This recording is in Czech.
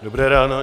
Dobré ráno.